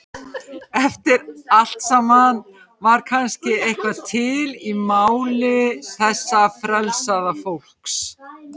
Eftir allt saman var kannski eitthvað til í máli þessa frelsaða fólks.